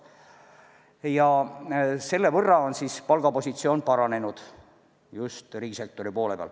Ja selle võrra on palgapositsioon paranenud just riigisektori poole peal.